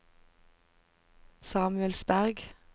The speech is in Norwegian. Samuelsberg